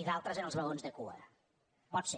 i d’altres en els vagons de cua pot ser